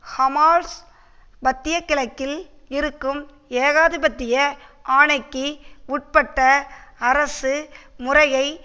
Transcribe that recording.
Hamas மத்திய கிழக்கில் இருக்கும் ஏகாதிபத்திய ஆணைக்கு உட்பட்ட அரசு முறையை